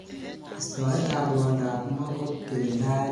Istoet ab rwondo ab moo ko kirindaet neo missing.